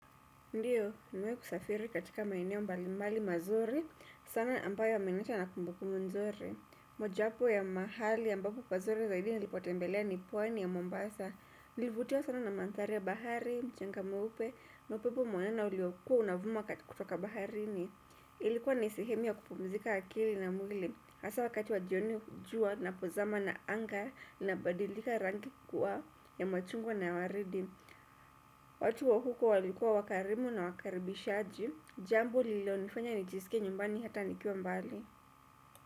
Ndiyo, nimewahi kusafiri katika maeneo mbali mbali mazuri, sana ambayo imeniacha na kumbukumbu mzuri. Mojawapo ya mahali ambapo pazuri zaidi nilipotembelea ni pwani ya Mombasa. Nilivutiwa sana na manthari ya bahari, mchanga mweupe, na upepo mwanana uliokuwa unavuma kutoka baharini. Ilikuwa ni sehemu ya kupumzika akili na mwili. Hasa wakati wa jioni jua napozama na anga nabadilika rangi kuwa ya machungwa na waridi. Watu wa huko walikuwa wakarimu na wakaribishaji, jambo lilonifanya nijisike nyumbani hata nikiwa mbali.